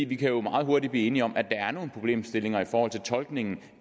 vi kan jo meget hurtigt blive enige om at der er nogle problemstillinger i forhold til tolkningen